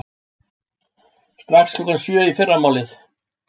Strax klukkan sjö í fyrramálið.